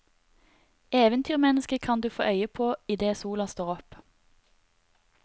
Eventyrmennesket kan du få øye på idet sola står opp.